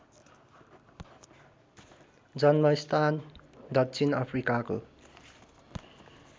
जन्मस्थान दक्षिण अफ्रिकाको